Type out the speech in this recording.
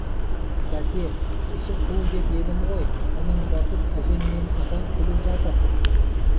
бәсе іші қу деп едім ғой мұның десіп әжем мен апам күліп жатыр